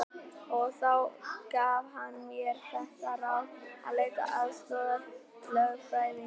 Og þá gaf hann mér þetta ráð að leita aðstoðar lögfræðings.